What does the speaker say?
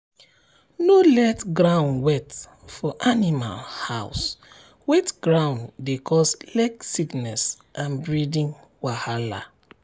no let ground wet for animal house wet ground dey cause leg sickness and breathing wahala.